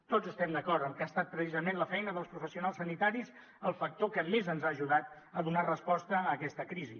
tots estem d’acord en què ha estat precisament la feina dels professionals sanitaris el factor que més ens ha ajudat a donar resposta a aquesta crisi